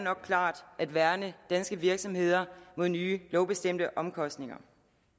at værne danske virksomheder mod nye lovbestemte omkostninger